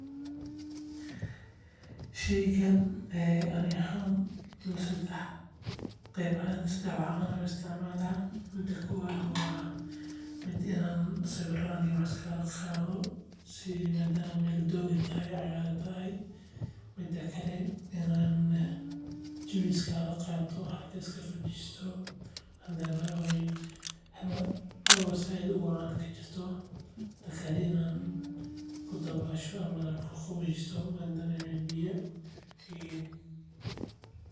Sheygani ani ahaan sedex wax ahaan ayaan u isticmaalna mida kowaad waa inaan sawiir iskaaga qaado mida lawaad inaan jawi ku qaato mida sedexaad inaan ku dabaasho.